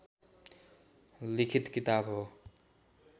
लिखित किताब हो